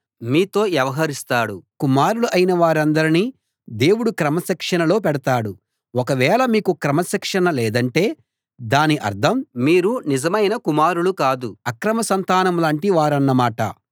కుమారులు అయిన వారందరినీ దేవుడు క్రమశిక్షణలో పెడతాడు ఒకవేళ మీకు క్రమశిక్షణ లేదంటే దాని అర్థం మీరు నిజమైన కుమారులు కాదు అక్రమ సంతానంలాంటి వారన్న మాట